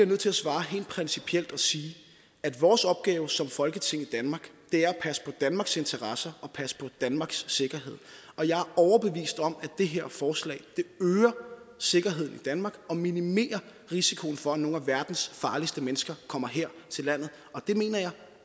nødt til at svare helt principielt og sige at vores opgave som folketing i danmark er at passe på danmarks interesser og passe på danmarks sikkerhed og jeg er overbevist om at det her forslag øger sikkerheden i danmark og minimerer risikoen for at nogle af verdens farligste mennesker kommer her til landet og det mener jeg